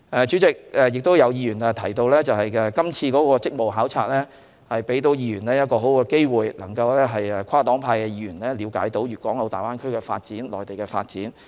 主席，有議員亦提到，今次的職務考察為議員提供很好的機會，讓跨黨派的議員了解到粵港澳大灣區的發展、內地的發展。